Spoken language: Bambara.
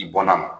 I bɔnna